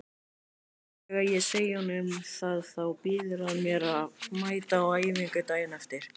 Þegar ég segi honum það þá býður hann mér að mæta á æfingu daginn eftir.